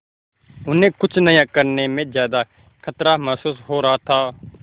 उन्हें कुछ नया करने में ज्यादा खतरा महसूस हो रहा था